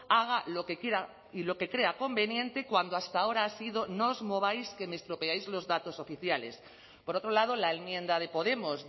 haga lo que quiera y lo que crea conveniente cuando hasta ahora ha sido no os mováis que me estropeáis los datos oficiales por otro lado la enmienda de podemos